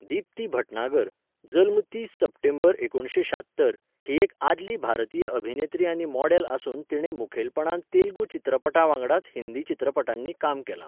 दीप्ती भटनागर, जल्म तीस सप्टेंबर एकुणशे शात्तर, ही एक आदली भारतीय अभिनेत्री आनी मॉडेल आसून तिणें मुखेलपणान तेलुगू चित्रपटां वांगडाच हिंदी चित्रपटांनी काम केलां.